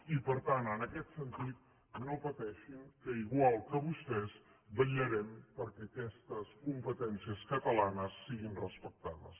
i per tant en aquest sentit no pateixin que igual que vostès vetllarem perquè aquestes competències catalanes siguin respectades